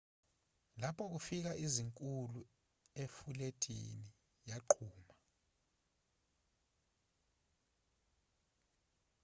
lapho kufika izikhulu ifulethi yaqhuma